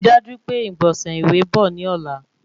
Ri daju pe igbọnsẹ ìwé bọ̀ ní ọ̀la